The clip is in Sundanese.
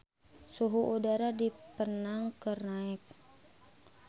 Suhu udara di Penang keur naek